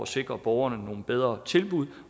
sikres borgerne nogle bedre tilbud